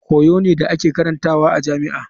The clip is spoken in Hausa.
Koyo ne da ake karantawa a jami'a.